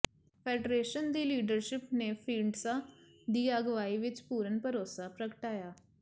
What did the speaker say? federation ਦੀ leadership ਨੇ ਢੀਂਡਸਾ ਦੀ ਅਗਵਾਈ ਵਿੱਚ ਪੂਰਨ ਭਰੋਸਾ ਪ੍ਰਗਟਾਇਆ